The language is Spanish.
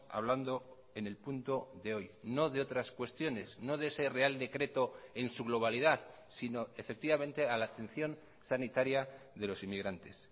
hablando en el punto de hoy no de otras cuestiones no de ese real decreto en su globalidad sino efectivamente a la atención sanitaria de los inmigrantes